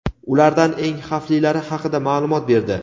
ulardan eng xavflilari haqida ma’lumot berdi.